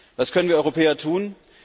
Was können wir Europäer tun?